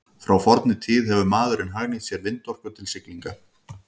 Frá fornri tíð hefur maðurinn hagnýtt sér vindorku til siglinga.